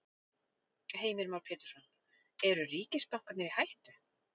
Heimir Már Pétursson: Eru ríkisbankarnir í hættu?